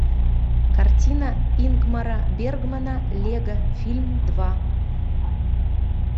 картина ингмара бергмана лего фильм два